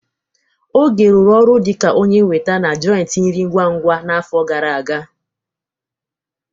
Oge rụrụ ọrụ dịka onye weta na joịtị nri ngwa-ngwa a n'afọ gara aga.